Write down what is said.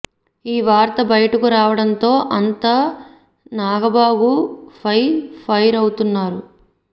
ఈ వార్త బయటకు రావడం తో అంత నాగబాబు ఫై ఫైర్ అవుతున్నారు